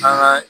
An ka